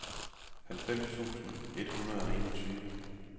halvfems tusind et hundrede og enogtyve